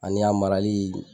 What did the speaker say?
Ani a marali.